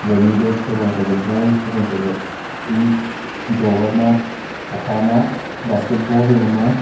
pani bag habo ma chatle ball habo ma chatle tik drower ma hokha ma basket ball habo ma.